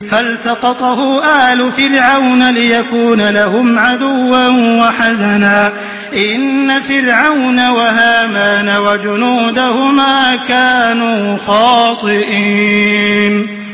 فَالْتَقَطَهُ آلُ فِرْعَوْنَ لِيَكُونَ لَهُمْ عَدُوًّا وَحَزَنًا ۗ إِنَّ فِرْعَوْنَ وَهَامَانَ وَجُنُودَهُمَا كَانُوا خَاطِئِينَ